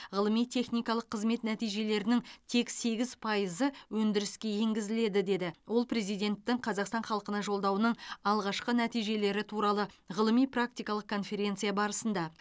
ғылыми техникалық қызмет нәтижелерінің тек сегіз пайызы өндіріске енгізіледі деді ол президенттің қазақстан халқына жолдауының алғашқы нәтижелері туралы ғылыми практикалық конференция барысында